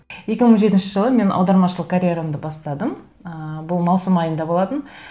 екі мың жетінші жылы мен аудармашылық карьерамды бастадым ыыы бұл маусым айында болатын